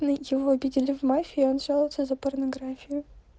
но его видели в мафии он жалуется за порнографию